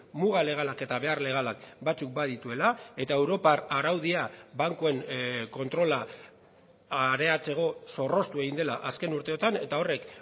muga legalak eta behar legalak batzuk badituela eta europar araudia bankuen kontrola areatzeko zorroztu egin dela azken urteotan eta horrek